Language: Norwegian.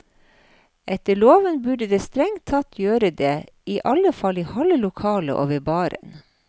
Etter loven burde det strengt tatt gjøre det, i alle fall i halve lokalet og ved baren.